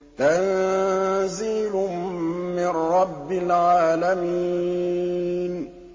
تَنزِيلٌ مِّن رَّبِّ الْعَالَمِينَ